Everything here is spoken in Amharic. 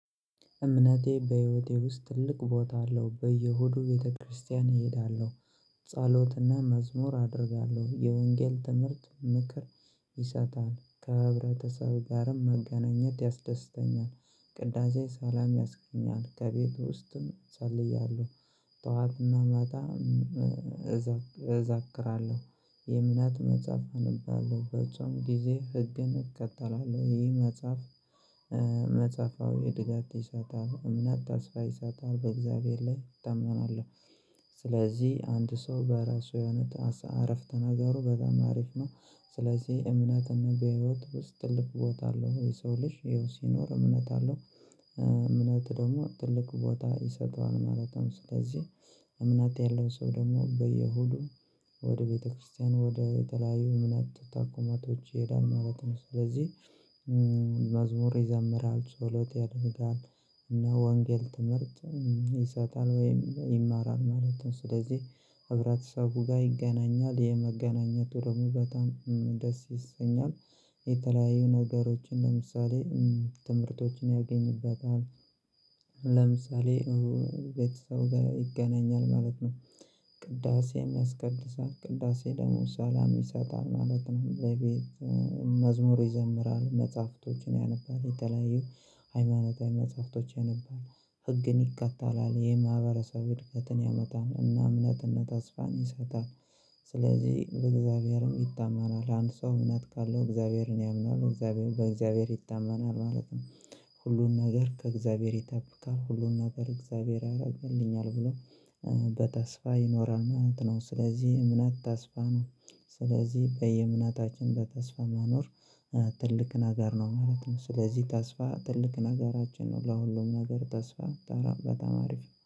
እምነቴ በህይወቴ ውስጥ ትልቅ ቦታ አለው በየሆዱ ቤተክርስቲያን እሄዳለሁ። ጸሎትና መዝሙር አደርጋለሁ የወንጌል ትምህርት ምክር። ይሰጣል ከህብረተሰብ ጋርም መገናኘት ያስደስተኛል። ቅዳሴ ሰላም ያስገኛል ከቤቱ ውስጥም እሰልያለሁ። መመጣ እዛክራለሁ። የእምነት መጽሐፍ አነባለሁለሁ በውጭውም ጊዜ ህግን እከተላለሁ። ይህ መጽሐፍ። መጽሐፋዊ እድጋት ይሰጣል እምነት ታስፋ ይሳታል በእግዚአብሔር ላይ እጠምናለሁ። ስለዚህ አንድ ሰው በራሱ የሆነ አረፍተ ነገሩ በጣም አሪፍ ነው። ስለዚህ እምነትና በህይወት ውስጥ እልክ ቦታ አለው የሰው ልጅ ይሄው ሲኖር እምነት አለው። እምነት ደግሞ ትልቅ ቦታ ይሰጠዋል ማለት ነው። ስለዚህ እምነት ያለው ሰው ደግሞ በየሁዱ ወደ ቤተክርስቲያን ወደ የተለያዩ እምነት ታኩማቶች ይሄዳል ማለት ነው ስለዚህ። መዝሙር ይዘምራል ሰውለት ያደርጋል። እና ወንጌል ትምህርት ይሰጣል ወይም ይማራል። ማለትም ስለዚህ ህብረተሰቡ ጋር ይገናኛል የመገናኘቱ ደግሞ በጣም ደስ ይሰኛል። የተለያዩ ነገሮች ለምሳሌ ትምህርቶችን ያገኝበታል። ለምሳሌ ቤተሰብ ይገናኛል ማለት ነው። ቅዳሴም ያስቀድሳል ቅዳሴ ደግሞ ሰላም ይሰጣል ማለት ነው። ለቤት መዝሙር ይዘምራል መጽሐፍቶችን ያነባል የተለያዩ ሃይማኖታዊ መጽሐፍቶች ያነባል ህግን ይከተላል የማህበረሰብ እድገትን ያመጣን እና እምነትን ተስፋን ይሰጣል። በእግዚአብሔርም ይታመናል አንድ ሰው እምነት ካለው እግዚአብሔርን ያምናል እግዚአብሔር በእግዚአብሔር ይታመናል ማለት ነው። ሁሉን ነገር ከእግዚአብሔር ይጠብቃል ሁሉን ነገር እግዚአብሔር ያደርግልኛል ብሎ በተስፋ ይኖራል ማለት ነው። ስለዚህ እምነት ተስፋ ነው። ስለዚህ በየእምነታችን በተስፋ መኖር ትልቅ ነገር ነው ማለት ነው። ስለዚህ ተስፋ ትልቅ ነገራችን ነው ለሁሉም ነገር ተስፋ ተራ በጣም አሪፍ ነው